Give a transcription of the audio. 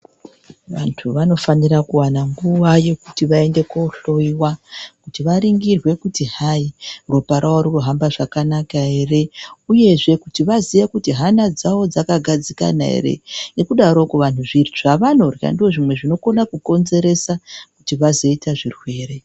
Vantu vanofanira kuwana nguva yekuti vaenda kuhloyiwa kuti varingirwe kuti hai ropa ravo ririkuhamba zvakanaka ere uyuzve kuti vaziye kuti hana dzavo dzakagadzikana ere ngekudaroko vantu zvavanorya ndozvimwe zvinokona kukonzeresa kuti vazoita zvirwere.